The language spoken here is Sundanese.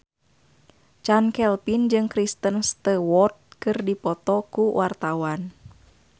Chand Kelvin jeung Kristen Stewart keur dipoto ku wartawan